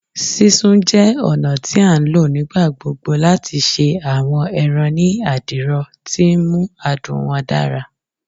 Sisun jẹ ọna ti a nlo nigbagbogbo lati ṣe awọn ẹran ni adiro, ti nmu adun wọn dara